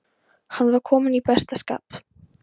Hann var kominn í besta skap.